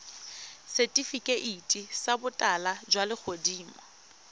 setifikeiti sa botala jwa legodimo